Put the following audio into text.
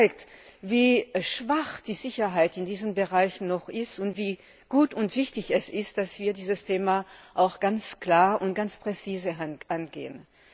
Das zeigt, wie schwach die Sicherheit in diesem Bereich noch ist und wie gut und wichtig es ist, dass wir dieses Thema ganz klar und präzise angehen.